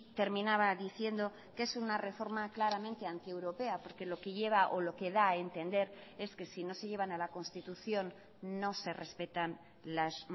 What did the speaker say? terminaba diciendo que es una reforma claramente antieuropea porque lo que lleva o lo que da a entender es que si no se llevan a la constitución no se respetan los